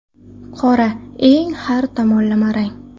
Qora eng har tomonlama rang.